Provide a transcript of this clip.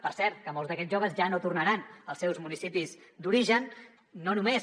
per cert que molts d’aquests joves ja no tornaran als seus municipis d’origen no només